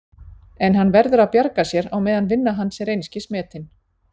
En hann verður að bjarga sér á meðan vinna hans er einskis metin.